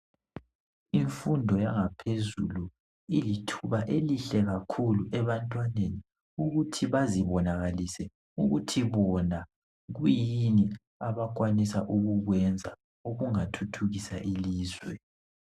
Imfundo yangaphezulu ilithuba elihle kakhulu ebantwaneni ukuthi bazibonakalise ukuthi bona kuyini abakwanisa ukukwenza okungathuthukisa ilizwe.